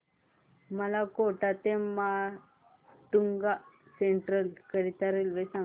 मला कोटा ते माटुंगा सेंट्रल करीता रेल्वे सांगा